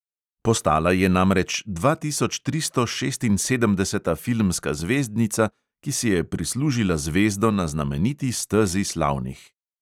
Postala je namreč dvatisočtristošestinsedemdeseta filmska zvezdnica, ki si je prislužila zvezdo na znameniti stezi slavnih.